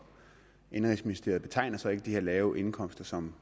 indenrigsministeriet betegner så ikke de her lave indkomster som